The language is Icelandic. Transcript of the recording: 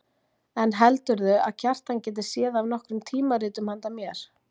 En heldurðu að Kjartan geti séð af nokkrum tímaritum handa mér.